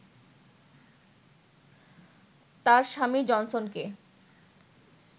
তার স্বামী জনসনকে